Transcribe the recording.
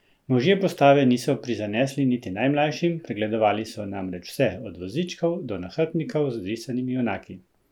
Možje postave niso prizanesli niti najmlajšim, pregledovali so namreč vse, od vozičkov do nahrbtnikov z risanimi junaki!